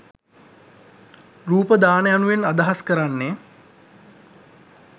රූප දාන යනුවෙන් අදහස් කරන්නේ